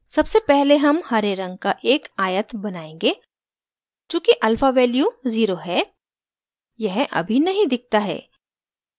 सबसे पहले हम हरे रंग का एक आयत बनायेंगे चूँकि alpha value zero है यह अभी नही दिखता है